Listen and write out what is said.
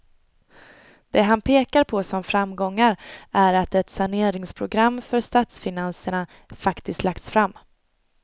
Det han pekar på som framgångar är att ett saneringsprogram för statsfinanserna faktiskt lagts fram.